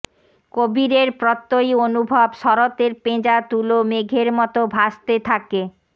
কবীরের প্রত্যয়ী অনুভব শরতের পেঁজা তুলো মেঘের মতো ভাসতে থাকে